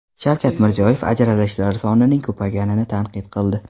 Shavkat Mirziyoyev ajralishlar sonining ko‘payganini tanqid qildi.